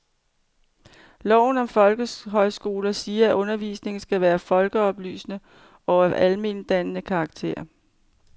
Loven om folkehøjskoler siger, at undervisningen skal være folkeoplysende og af almentdannende karakter.